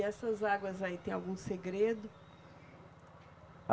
E essas águas aí, tem algum segredo?